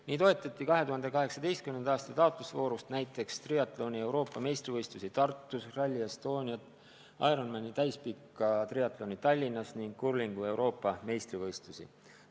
Nii toetati 2018. aasta taotlusvoorus triatloni Euroopa meistrivõistlusi Tartus, Rally Estoniat, Ironmani täispikka triatloni Tallinnas ning kurlingu Euroopa meistrivõistlusi.